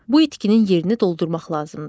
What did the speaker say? Bu itkinin yerini doldurmaq lazımdır.